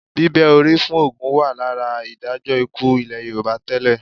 Bíbẹ́ orí fún ògún wà lára ìdájọ́ ikú ilẹ̀ Yorùbá tẹ́lẹ̀